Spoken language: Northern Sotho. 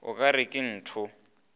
o ka re ke ntoo